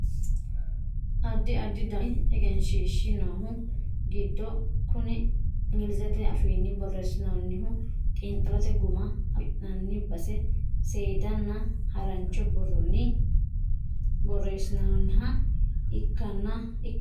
addi addi dani egenshiishshi noohu giddo kuni inglizete afiinni borreessinoonnihu xiinxallote guma afi'nanni base seedanna harancho borronni borreessinoonniha ikkanno yaate